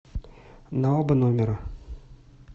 на оба номера